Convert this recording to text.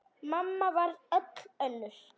Mamma varð öll önnur.